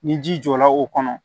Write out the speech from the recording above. Ni ji jɔra o kɔnɔ